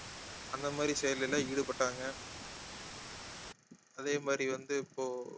அந்த மாதிரி செயல்கள்ல ஈடுபட்டாங்க அதே மாதிரி வந்து இப்போ